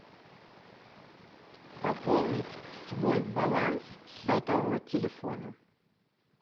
пополнить свой баланс сотового телефона